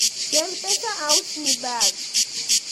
kel pesa ausni bag